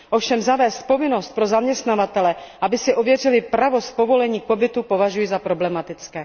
Ovšem zavést povinnost pro zaměstnavatele, aby si ověřili pravost povolení k pobytu, považuji za problematickou.